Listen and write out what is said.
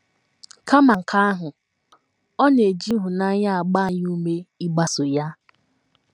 Kama nke ahụ, ọ na - eji ịhụnanya agba anyị ume ịgbaso ya.